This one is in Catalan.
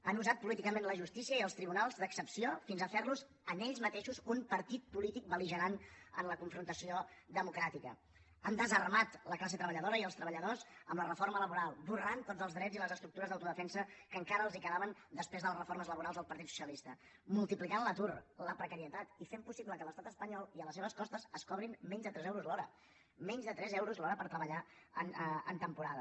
han usat políticament la justícia i els tribunals d’excepció fins a fer los en ells mateixos un partit polític belhan desarmat la classe treballadora i els treballadors amb la reforma laboral esborrant tots els drets i les estructures d’autodefensa que encara els quedaven després de les reformes laborals del partit socialista multiplicant l’atur la precarietat i fent possible que a l’estat espanyol i a les seves costes es cobrin menys de tres euros l’hora menys de tres euros l’hora per treballar en temporada